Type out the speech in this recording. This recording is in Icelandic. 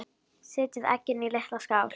Setjið eggin í litla skál.